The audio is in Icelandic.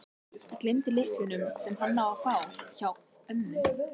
Ég gleymdi lyklunum, sem hann á að fá, hjá ömmu.